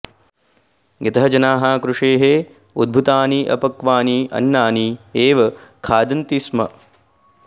यतः जनाः कृषेः उद्भूतानि अपक्वानि अन्नानि एव खादन्ति स्म